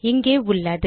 இங்கே உள்ளது